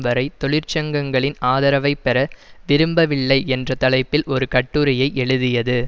வரை தொழிற்சங்கங்களின் ஆதரவை பெற விரும்பவில்லை என்ற தலைப்பில் ஒரு கட்டுரையை எழுதியது